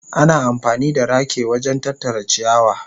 Ana amfani da rake wajen tattara ciyawa.